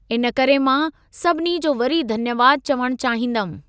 इन करे मां सभिनी जो वरी धन्यवाद चवण चाहींदमि।